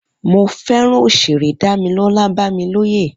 Mo fẹràn òṣèré Damilola Bamiloye